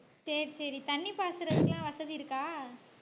சரி சரி தண்ணி பாசறதுக்குலாம் வசதி இருக்கா